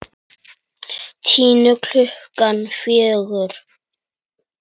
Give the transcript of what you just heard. Tinnu klukkan fjögur.